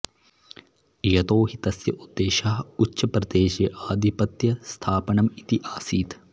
यतो हि तस्य उद्देशः उच्छप्रदेशे आधिपत्यस्थापनम् इति आसीत्